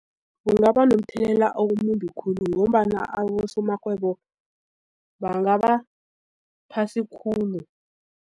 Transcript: Kungaba nomthelela omumbi khulu ngombana abosomarhwebo bangaba phasi khulu.